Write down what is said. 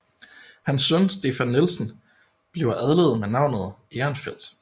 Hans søn Stefan Nielsen bliver adlet med navnet Ehrenfeldt